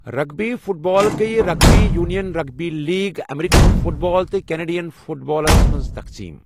Rugby football گٔیۍ rugby union, rugby league, American football, تہٕ Canadian football منٛز تَقسیٖم۔